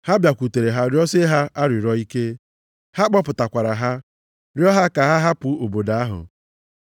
Ha bịakwutere ha rịọsie ha arịrịọ ike. Ha kpọpụtakwara ha, rịọ ha ka ha hapụ obodo ahụ.